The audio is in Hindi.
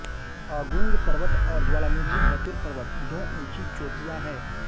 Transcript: अगुंग पर्वत और ज्वालामुखी बतुर पर्वत दो ऊँची चोटियाँ हैं